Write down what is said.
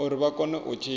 uri vha kone u tshila